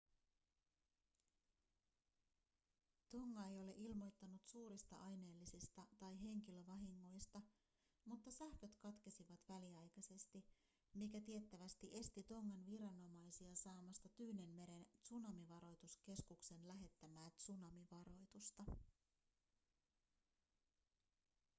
tonga ei ole ilmoittanut suurista aineellisista tai henkilövahingoista mutta sähköt katkesivat väliaikaisesti mikä tiettävästi esti tongan viranomaisia saamasta tyynenmeren tsunamivaroituskeskuksen lähettämää tsunamivaroitusta